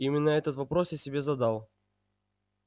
именно этот вопрос я себе задал